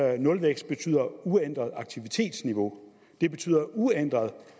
at nulvækst betyder uændret aktivitetsniveau det betyder uændret